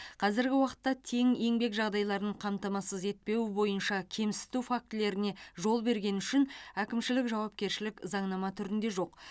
қазіргі уақытта тең еңбек жағдайларын қамтамасыз етпеу бойынша кемсіту фактілеріне жол бергені үшін әкімшілік жауапкершілік заңнама түрінде жоқ